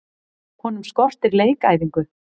Honum skortir leikæfingu.